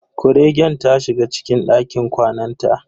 Kuregen ta shiga cikin dakin kwanan ta.